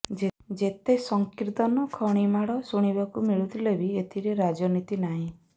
ଯେତେ ସଂକୀର୍ତ୍ତନ ଖଣିମାଡ଼ ଶୁଣିବାକୁ ମିଳୁଥିଲେ ବି ଏଥିରେ ରାଜନୀତି ନାହିଁ